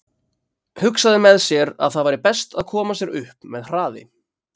Hugsaði með sér að það væri best að koma sér upp með hraði.